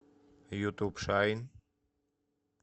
ютуб шайн